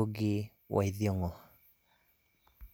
oji waitheng'o.